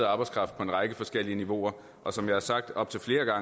arbejdskraft når